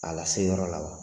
A lase yɔrɔ la wa?